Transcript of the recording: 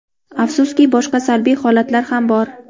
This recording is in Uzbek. Afsuski, boshqa salbiy holatlar ham bor.